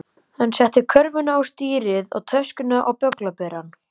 Hann setti körfuna á stýrið og töskuna á bögglaberann.